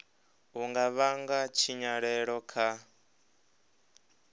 u nga vhanga tshinyalelo kha